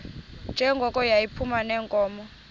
njengoko yayiphuma neenkomo